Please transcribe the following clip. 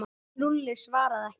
En Lúlli svaraði ekki.